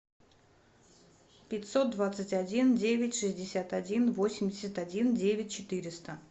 пятьсот двадцать один девять шестьдесят один восемьдесят один девять четыреста